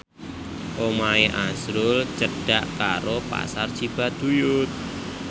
omahe azrul cedhak karo Pasar Cibaduyut